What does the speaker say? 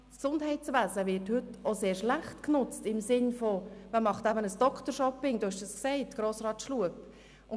Das Gesundheitswesen wird heute sehr schlecht genutzt in dem Sinne, dass man ein «Doctor-Hopping» praktiziert, wie Grossrat Schlup gesagt hat.